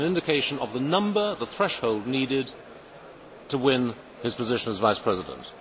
It was an indication of the number, the threshold needed, to win his position as Vice President.